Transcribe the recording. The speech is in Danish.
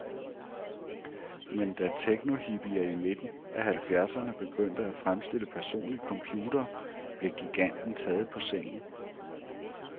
Men da teknohippier midt i halvfjerdserne begyndte at fremstille personlige computere, blev giganten taget på sengen.